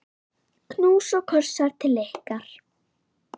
Knús og kossar til ykkar.